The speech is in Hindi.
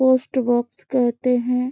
पोस्ट बॉक्स कहते है।